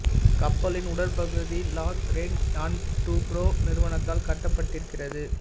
கப்பலின் உடற் பகுதி லார்ஸென் அன்ட் டூப்ரோ நிறுவனத்தால் கட்டப்பட்டிருக்கிறது